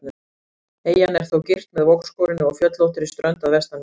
Eyjan er þó girt með vogskorinni og fjöllóttri strönd að vestanverðu.